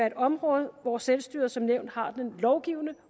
et område hvor selvstyret som nævnt har den lovgivende